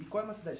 Icó é uma cidade?